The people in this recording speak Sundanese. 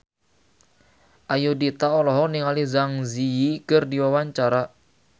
Ayudhita olohok ningali Zang Zi Yi keur diwawancara